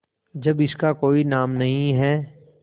जब इसका कोई नाम नहीं है